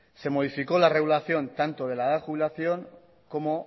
se modificó la regulación tanto de la edad de jubilación como